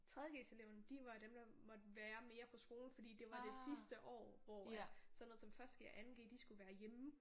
3.g eleverne de var dem der måtte være mere på skolen fordi det var det sidste år hvor at sådan noget som 1.g og 2.g de skulle være hjemme